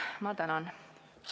Ma tänan!